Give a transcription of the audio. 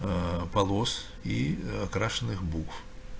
ээ полос и крашеных букв